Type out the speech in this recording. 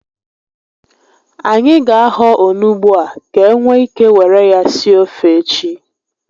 Anyị ga ahọ onugbu a ka e nwee ike were ya sie ofe echi